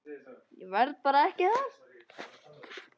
Ég verð ekki þar.